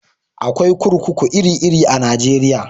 Akwai kurkuku iri iri a Najeriya